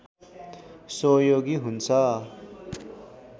सहयोगी हुन्छ